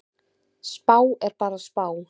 Spá er bara spá.